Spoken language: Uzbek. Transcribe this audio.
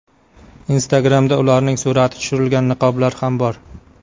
Instagram’da ularning surati tushirilgan niqoblar ham bor.